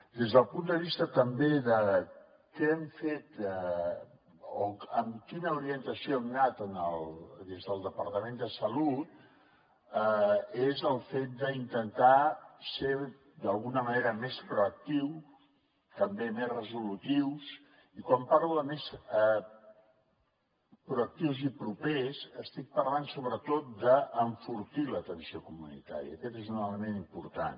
des del punt de vista també de què hem fet o amb quina orientació hem anat des del departament de salut és el fet d’intentar ser d’alguna manera més proactius també més resolutius i quan parlo de més proactius i propers estic parlant sobretot d’enfortir l’atenció comunitària aquest és un element important